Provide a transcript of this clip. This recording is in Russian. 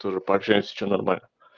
тоже пообщаемся что нормально